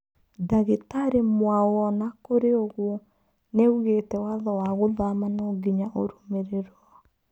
Dagĩtarĩ Mwaũona kũrĩ ũguo nĩaugĩte watho wa gũthama nonginya ũrũmĩrirwo.